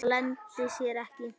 Það leyndi sér ekki.